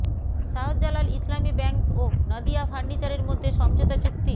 Shahjalal Islami bank ও নাদিয়া ফার্নিচারের মধ্যে সমঝোতা চুক্তি